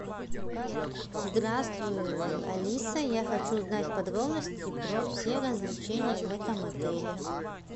здравствуй алиса я хочу узнать подробности про все развлечения в этом отеле